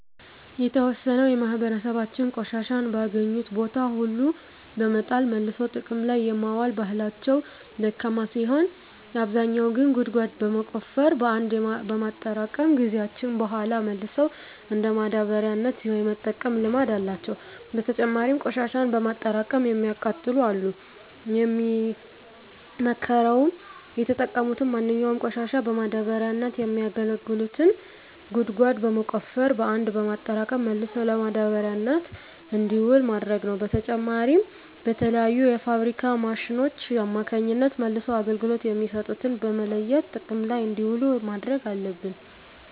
የተዎሰነው የማህበራሰባችን ቆሻሻን በአገኙት ቦታ ሁሉ በመጣል መልሶ ጥቅም ላይ የማዋል ባህላቸው ደካማ ሲሆን አብዛኛው ግን ጉድጓድ በመቆፈር በአንድ በማጠራቀም ከጊዜያት በሗላ መልሰው እንደ ማዳበሪያነት የመጠቀም ልምድ አላቸው። በተጨማሪም ቆሽሻን በማጠራቀም የሚያቃጥሉ አሉ። የሚመከረውም የተጠቀሙትን ማንኛውንም ቆሻሻ ለማዳበሪያነት የሚያገለግሉትን ጉድጓድ በመቆፈር በአንድ በማጠራቀም መልሶ ለማዳበሪያነት እንዲውል ማድረግ ነው። በተጨማሪም በተለያዩ የፋብሪካ ማሽኖች አማካኝነት መልሰው አገልግሎት የሚሰጡትን በመለየት ጥቅም ላይ እንዲውሉ ማድረግ አለብን።